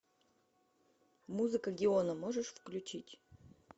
музыка геона можешь включить